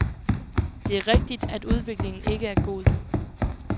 Det er rigtig, at udviklingen ikke er god.